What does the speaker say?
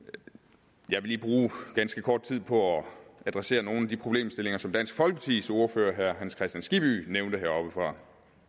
jeg vil lige bruge ganske kort tid på at adressere nogle af de problemstillinger som dansk folkepartis ordfører herre hans kristian skibby nævnte heroppefra